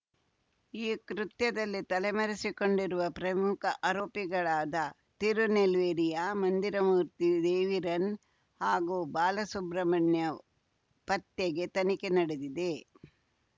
ಈ ಕೃತ್ಯದಲ್ಲಿ ತಲೆಮರೆಸಿಕೊಂಡಿರುವ ಪ್ರಮುಖ ಆರೋಪಿಗಳಾದ ತಿರುನೆಲ್ವೇಲಿಯ ಮಂದಿರಮೂರ್ತಿ ದೇವಿರನ್‌ ಹಾಗೂ ಬಾಲಸುಬ್ರಹ್ಮಣ್ಯ ಪತ್ತೆಗೆ ತನಿಖೆ ನಡೆದಿದೆ